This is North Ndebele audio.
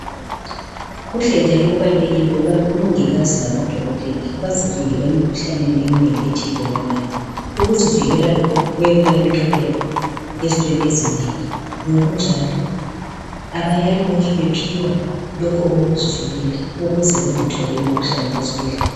Kuhle njalo kubalulekile ukubana omongikazi lamadokotela bazivikele emkhuhlaneni eminengi ethelelwanayo. Ukuzivikela lokhu kuyabenqabela ezintweni ezinengi .Ngokunjalo abayale lokhe bephiwa lokho okokuzivikela ukuze bengatholi imikhuhlane ezibhedlela.